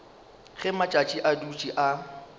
ge matšatši a dutše a